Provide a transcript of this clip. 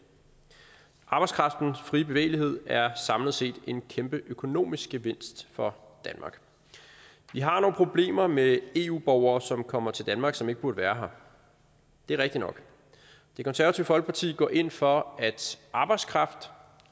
arbejdskraftens frie bevægelighed er samlet set en kæmpe økonomisk gevinst for danmark vi har nogle problemer med eu borgere som kommer til danmark og som ikke burde være her det er rigtigt nok det konservative folkeparti går ind for at arbejdskraft